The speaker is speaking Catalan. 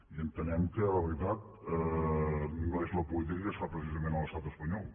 i entenem que la veritat no és la política que es fa precisament a l’estat espanyol